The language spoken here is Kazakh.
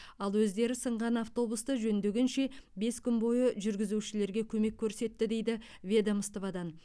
ал өздері сынған автобусты жөндегенше бес күн бойы жүргізушілерге көмек көрсетті дейді ведомстводан